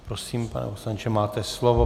Prosím, pane poslanče, máte slovo.